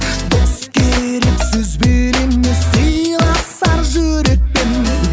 дос керек сөзбен емес сыйласар жүрекпен